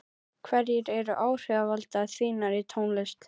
hverjir eru áhrifavaldar þínir í tónlist?